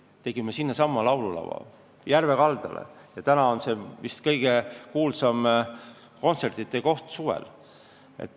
Me tegime Kasepääl sinnasamasse järve kaldale laululava ja nüüd on see vist kõige kuulsam kontsertide koht suvel.